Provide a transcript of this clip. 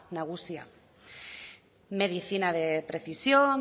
nagusia medicina de precisión